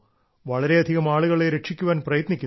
വളരെയധികം ആളുകളെ രക്ഷിക്കാൻ പ്രയത്നിക്കുന്നു